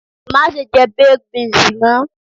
Mase je baked beans mo